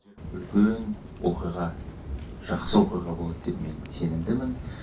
үлкен оқиға жақсы оқиға болады деп мен сенімдімін